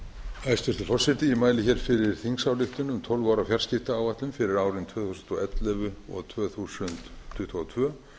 hæstvirtur forseti ég mæli fyrir þingsályktun um tólf ára fjarskiptaáætlun fyrir árin tvö þúsund og ellefu til tvö þúsund tuttugu og tvö